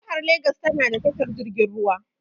Jihar legas tana da tashar jirgin ruwa.